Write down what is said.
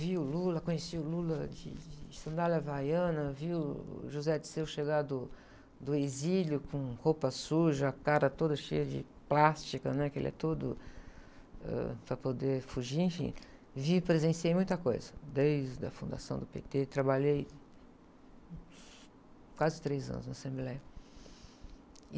vi o Lula, conheci o Lula de, de sandália havaiana, vi uh, o José Dirceu chegar do, do exílio com roupa suja, a cara toda cheia de plástica, né? Que ele é todo, ãh, para poder fugir, enfim, vi e presenciei muita coisa, desde a fundação do pê-tê, trabalhei quase três anos na Assembleia.